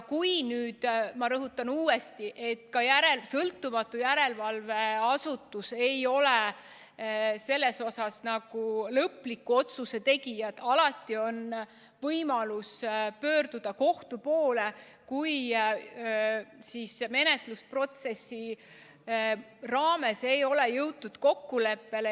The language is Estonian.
Ma rõhutan uuesti, et ka sõltumatu järelevalveasutus ei ole selles suhtes lõpliku otsuse tegija, alati on võimalus pöörduda kohtu poole, kui menetlusprotsessi raames ei ole jõutud kokkuleppele.